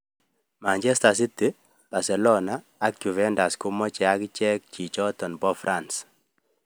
Manchester City, Barcelona ak Juventus Komoche agichek Chichoton po france.